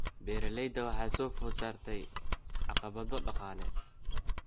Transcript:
Beeralayda waxaa soo food saartay caqabado dhaqaale.